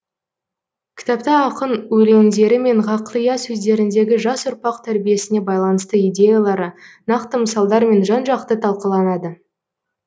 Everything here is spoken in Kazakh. кітапта ақын өлеңдері мен ғақлия сөздеріндегі жас ұрпақ тәрбиесіне байланысты идеялары нақты мысалдармен жан жақты талқыланады